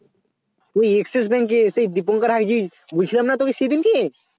ওই Axis Bank এ সেই Dipankarhagchi বলছিলাম না তোকে সেইদিনকে